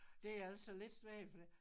Det er altså lidt svært fordi